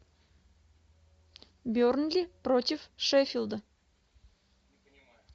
бернли против шеффилда